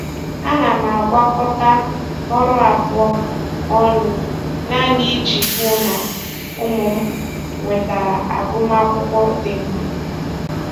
Ana m agwakọta ọrụ abụọ m ọnụ naanị iji hụ na ụmụ m nwetara agụmakwụkwọ dị mma.